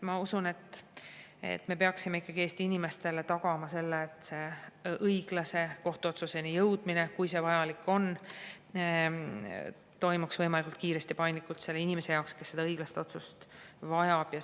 Ma usun, et me peaksime ikkagi Eesti inimestele tagama selle, et õiglase kohtuotsuseni jõudmine, kui see vajalik on, toimub võimalikult kiiresti ja paindlikult selle inimese jaoks, kes seda õiglast otsust vajab.